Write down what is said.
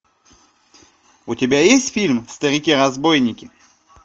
у тебя есть фильм старики разбойники